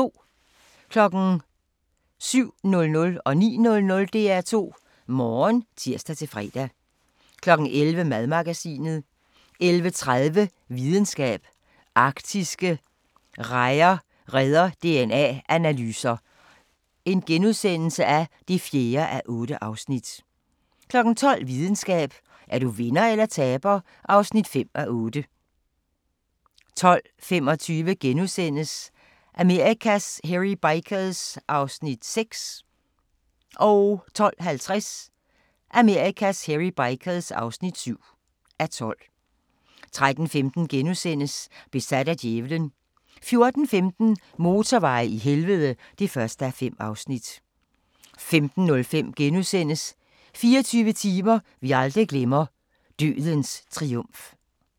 07:00: DR2 Morgen (tir-fre) 09:00: DR2 Morgen (tir-fre) 11:00: Madmagasinet 11:30: Videnskab: Arktiske rejer redder DNA-analyser (4:8)* 12:00: Videnskab: Er du vinder eller taber (5:8) 12:25: Amerikas Hairy Bikers (6:12)* 12:50: Amerikas Hairy Bikers (7:12) 13:15: Besat af djævelen * 14:15: Motorveje i helvede (1:5) 15:05: 24 timer vi aldrig glemmer - Dødens Triumf *